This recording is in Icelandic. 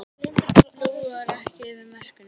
Flúor ekki yfir mörkum